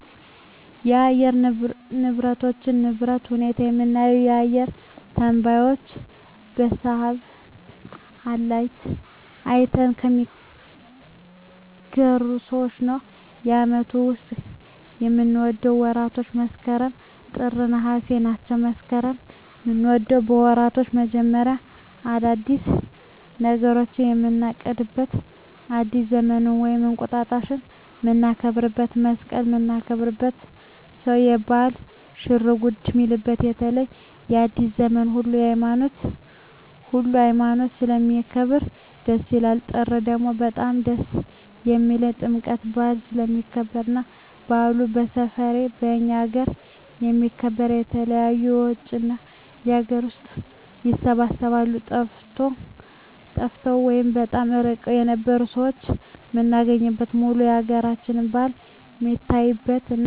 የአየር ንብረቶች ንብረት ሁኔታ የምናገኘው አየረ ተነባዩች በሳሀትአላይት አይተው ከሚናገሩት ሰዎች ነው በአመቱ ዉስጥ ከምወዳቸው ወራቶች መስከረም ጥር ነሃሴ ናቸው መስከረምን ምወደው የወራቶች መጀመሪያ አዳዲስ ነገሮችን ምናቅድበት አዲስ ዘመንን ወይም እንቁጣጣሽ ምናከብረው መሰቀልን ምናከብርበት ሰው ለባህሉ ሽርጉድ ሚልበት በተለይ አዲሰ ዘመንን ሁሉ ሀይማኖት ስለሚያከብር ደስ ይላል ጥር ደግሞ በጣም ደስ የሚልኝ ጥምቀት በአል ስለሚከበር እና በአሉ በሠፌው ከእኛ አገረ ስለሚከበር የተለያዩ የውጭ እና የአገር ውስጥ ይሰባሰባሉ ጠፍተው ወይም በጣም እርቀዉን የነበሩ ሠዎች ምናገኝበት ሙሉ የአገራችን በአል ሜታይበት እና ሜጸባረቅበት ነው